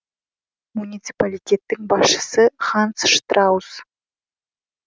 муниципалитеттің басшысы ханс штраус